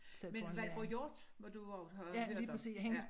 Men Valborg Hjort må du også have hørt om ja